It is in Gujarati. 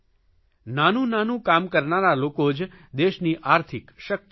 નાનું નાનું કામ કરનારા લોકો જ દેશની આર્થિક શકિત હોય છે